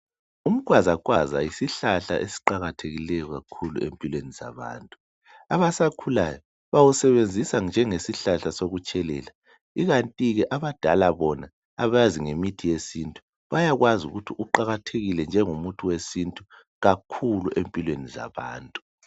Umkhwazakhwaza yisihlahla esiqakathekileyo kakhulu empilweni zabantu. Abasakhulayo bawusebenzisa njengesihlahla sokutshelela ikanti ke abadala bona abakwazi ngemithi yesintu bayakwazi ukuthi uqakathekile njengomuthi wesintu kakhulu empilweni zabantu.